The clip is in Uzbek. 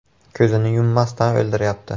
Ko‘zini yummasdan o‘ldiryapti.